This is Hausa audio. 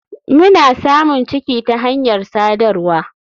Mna samun ciki ta hanyar sadarwa.